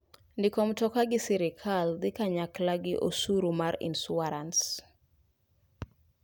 Ndiko mroka gi sirkal dhi kanyakla gi osuru mar insurans.